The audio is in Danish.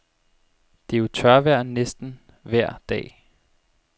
Det er jo tørvejr næsten vejr dag.